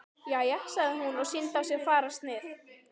Jæja, sagði hún og sýndi á sér fararsnið.